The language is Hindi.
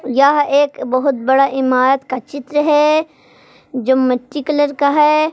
यह एक बहुत बड़ा इमारत का चित्र है जो मिट्टी कलर का है।